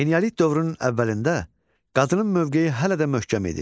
Eneolit dövrünün əvvəlində qadının mövqeyi hələ də möhkəm idi.